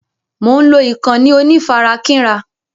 Mo ń lọ ìkànnì onífarakínra..